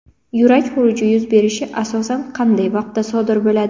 Yurak xuruji yuz berishi asosan qanday vaqtda sodir bo‘ladi?